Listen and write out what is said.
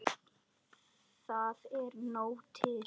Það er nóg til.